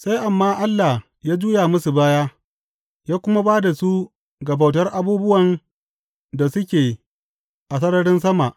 Sai Amma Allah ya juya musu baya ya kuma ba da su ga bautar abubuwan da suke a sararin sama.